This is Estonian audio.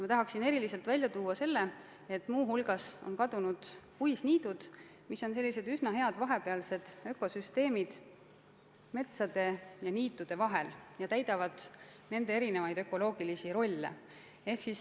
Ma tahan eriliselt välja tuua selle, et muu hulgas on kadunud puisniidud, mis on üsna head vahepealsed ökosüsteemid metsade ja niitude vahel ja täidavad nende erinevaid ökoloogilisi rolle.